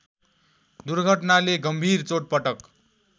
दुर्घटनाले गम्भीर चोटपटक